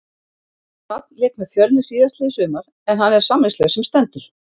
Hrafn lék með Fjölni síðastliðið sumar en hann er samningslaus sem stendur.